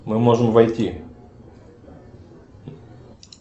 мы можем войти